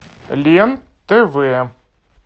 лен тв